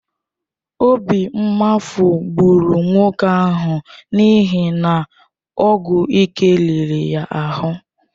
Obi mgbafu gburu nwoke ahụ n’ihi na ọgwụ ike riri ya ahụ.